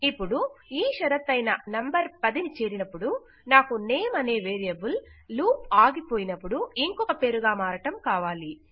ఇపుడు ఈ షరతయిన నంబర్ 10 అయినపుడు నాకు నేమ్ అనే వేరియబుల్ లూప్ ఆగిపోయినపుడు ఇంకొక పేరుగా మారడం కావాలి